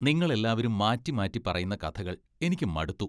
നിങ്ങൾ എല്ലാവരും മാറ്റിമാറ്റി പറയുന്ന കഥകൾ എനിക്ക് മടുത്തു.